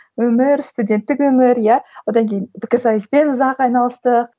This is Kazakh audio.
өмір студенттік өмір иә одан кейін пікірсайыспен ұзақ айналыстық